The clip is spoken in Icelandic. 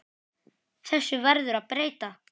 Þessu verður að breyta!